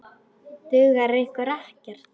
Dugar ykkur ekkert?